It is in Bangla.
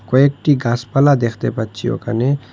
কয়েকটি গাছপালা দেখতে পাচ্ছি ওখানে।